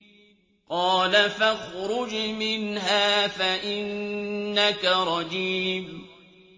قَالَ فَاخْرُجْ مِنْهَا فَإِنَّكَ رَجِيمٌ